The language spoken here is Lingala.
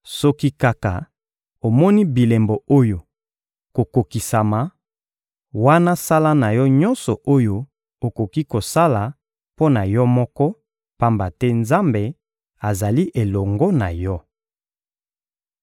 Soki kaka omoni bilembo oyo kokokisama, wana sala na yo nyonso oyo okoki kosala mpo na yo moko, pamba te Nzambe azali elongo na yo.